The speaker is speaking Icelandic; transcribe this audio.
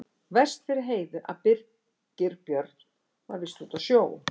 Verst fyrir Heiðu að Birgir Björn var víst úti á sjó.